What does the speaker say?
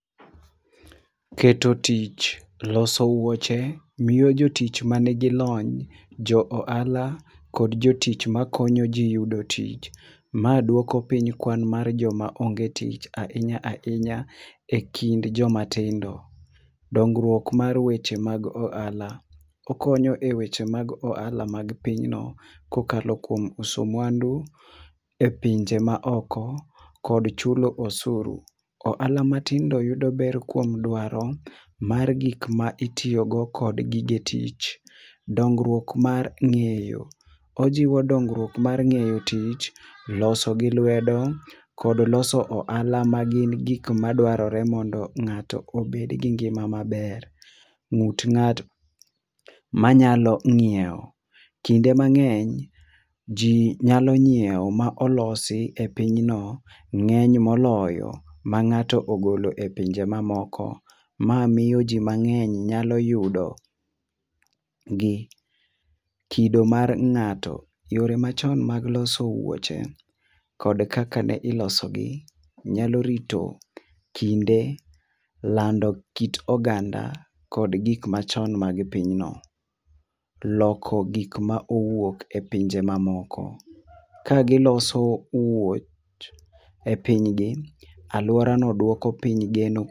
Keto tich loso wuoche, miyo jotich ma ni gi lony, jo ohala kod jotich ma konyo ji yudo tich. Ma konyo ji yudo tich ma dwoko piny kwan mar jo ma onge tich ajhinya ahinya to jo go matindo .Dongruok mar weche mag ohala, okonyo weche mag ohala mar piny no ka okalo kuom uso mwandu e pinje ma moko, kod chulo osuru. Ohala matindo yudo ber kuom dwaro mar gik ma itiyo go kod gige tich. dongruok mar ngeyo ojiwo dongruok mar ng'eyo tich loso gi lwedo kod loso ohala mar gik ma dwarore mondo ng'ato obed gi ngima ma ber. Ut ng'ato ma nyalo ngiewo, kinde mangeny ji nyalo ngiewo gik ma olos e piny no ng'eny moloyo ma ng'ato ogolo e pinje ma oko. Ma miyo ji mang'eny nyalo yudo gi. Kido mar ng'ato, yore mang'eny mar loso wuoche kod kaka ne ilseo gi nyalo rito kinde lando ki oganda kod gik ma chon mar pinyno. Loko gik ma owuok pinje ma ma moko ka gi loso wuoch e piny gi, aluora no dwoko piny geno.